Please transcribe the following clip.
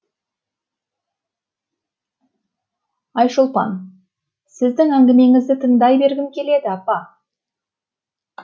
айшолпан сіздің әңгімеңізді тыңдай бергім келеді апа